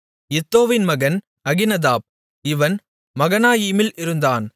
இத்தோவின் மகன் அகினதாப் இவன் மகனாயீமில் இருந்தான்